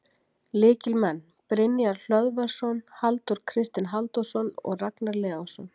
Lykilmenn: Brynjar Hlöðversson, Halldór Kristinn Halldórsson og Ragnar Leósson.